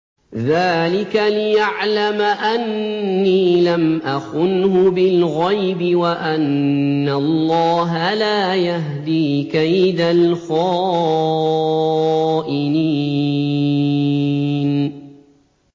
ذَٰلِكَ لِيَعْلَمَ أَنِّي لَمْ أَخُنْهُ بِالْغَيْبِ وَأَنَّ اللَّهَ لَا يَهْدِي كَيْدَ الْخَائِنِينَ